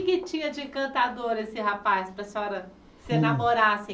O que é que tinha de encantador esse rapaz para a senhora se enamorar assim?